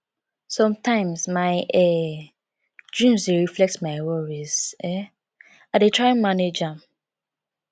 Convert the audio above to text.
sometimes my um dreams dey reflect my worries um i dey try manage am